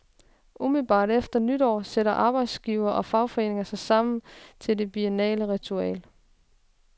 Umiddelbart efter nytår sætter arbejdsgivere og fagforeninger sig sammen til det biennale ritual.